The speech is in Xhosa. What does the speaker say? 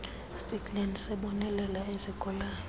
stikland sibonelela izigulane